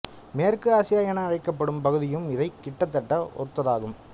மேற்கு ஆசியா என அழைக்கப்படும் பகுதியும் இதை கிட்டத்தட்ட ஒத்ததாகும்